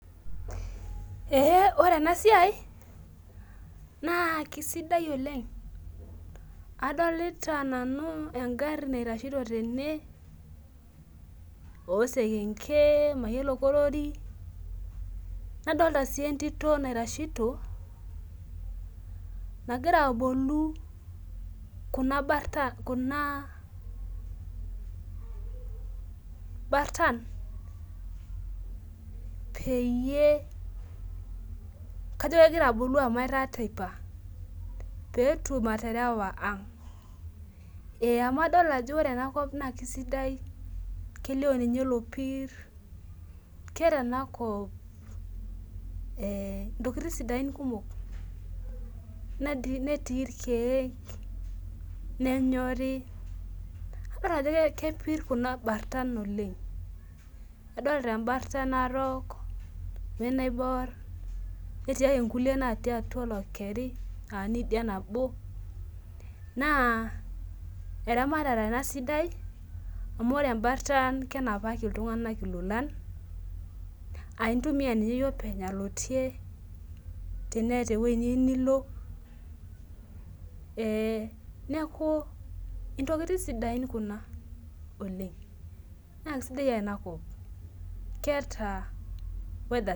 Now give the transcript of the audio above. Ee ore enasia na kisidai oleng adolta nanu osekenke mayiolo kalorinadolta si entito naitashito nagira aboli kuna bartan kuna bartan peyie kajo kegira abolu amu etaa teipa amu adolta ajo kesidai enakop kelio lopir keera enakop ntokitin sidain netii irkiek nenyori idok ajo kepir enabarsa oleng adolta embarsa narok naibor netii ake nkulie aa niidia nao na eramatare enasidai amu ore embarsa na kenapali ltunganak ilolan aintumia nye iyie oleny alotie teneeta ewoi niyieu nilo neaku inatoki sidain kuna oleng na kesidai enakop keeta[ca] weather